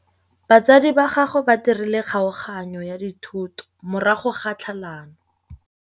Batsadi ba gagwe ba dirile kgaoganyô ya dithoto morago ga tlhalanô.